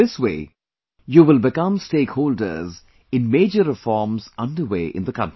This way, you will become stakeholders in major reforms underway in the country